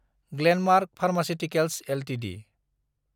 Glenmark pharmaceuticals Ltd